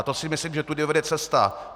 A to si myslím, že tudy vede cesta.